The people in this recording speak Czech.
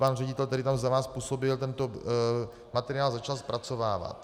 Pan ředitel, který tam za vás působil, tento materiál začal zpracovávat.